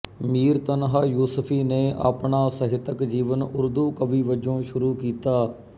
ਮੀਰ ਤਨਹਾ ਯੂਸਫੀ ਨੇ ਆਪਣਾ ਸਾਹਿਤਕ ਜੀਵਨ ਉਰਦੂ ਕਵੀ ਵਜੋਂ ਸ਼ੁਰੂ ਕੀਤਾ